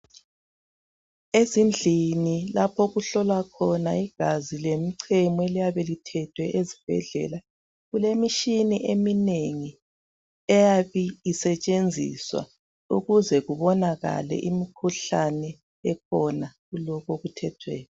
Ezindlini lapho okuhlolwa khona igazi lemichemo eliyabe lithethwe ezibhedlela . Kulemitshina eminengi eyabe isetshenziswa ukuze kubonakale imikhuhlane ekhona kulokhu okuthethweyo.